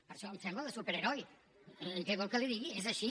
per això em sembla de superheroi què vol que li digui és així